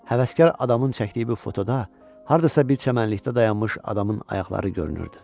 Həvəskar adamın çəkdiyi bu fotoda hardasa bir çəmənlikdə dayanmış adamın ayaqları görünürdü.